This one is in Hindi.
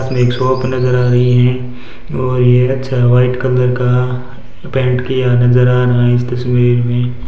अनेक शॉप नजर आ रही हैं और ये अच्छा व्हाइट कलर का पेंट किया नजर आ रहा है इस तस्वीर में--